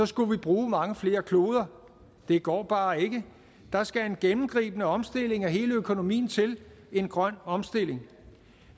skulle vi bruge mange flere kloder det går bare ikke der skal en gennemgribende omstilling af hele økonomien til en grøn omstilling